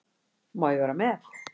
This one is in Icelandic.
Má ég vera með?